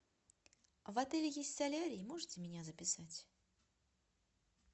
в отеле есть солярий можете меня записать